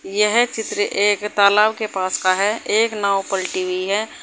यह चित्र एक तालाब के पास का है। एक नाव पलटी हुई है।